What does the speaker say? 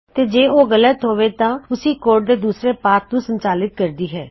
ਤੋ ਜੇ ਕੰਡੀਸ਼ਨ ਗਲਤ ਹੋਵੇ ਤਾਂ ਓਸੀ ਕੋਡ ਦੇ ਦੂਸਰੇ ਖੰਡ ਨੂੰ ਸੰਚਾਲਿਤ ਕਰਦੀ ਹੈ